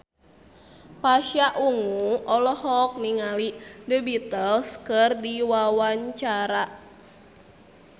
Pasha Ungu olohok ningali The Beatles keur diwawancara